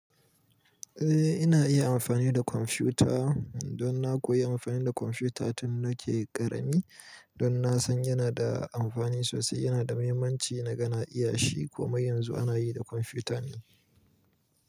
Eh ina iya amfani da kwamfuta. Don na koyi amfani da kwamfuta tun da nake ƙarami. Don na san yana da amfani sosai, yana da muhimmanci na ga na iya shi. Komai yanzu ana yi da kwamfuta ne.